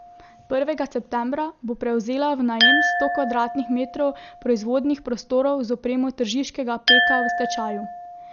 Prvega septembra bo prevzela v najem sto kvadratnih metrov proizvodnih prostorov z opremo tržiškega Peka v stečaju.